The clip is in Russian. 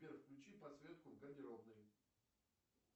сбер включи подсветку в гардеробной